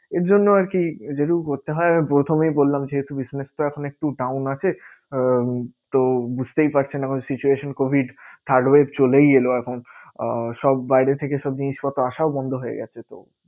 এর জন্য আরকি যেটুকু করতে হয়। আমি প্রথমের বললাম যেহেতু business টা একটু down আছে। আহ তো বুঝতেই পারছেন এখন situation covid third web চলেই এলো এখন আহ সব বাইরে থেকে সব জিনিসপত্র আশাও বন্ধ হয়ে গেছে। তো